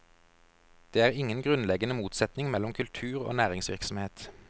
Det er ingen grunnleggende motsetning mellom kultur og næringsvirksomhet.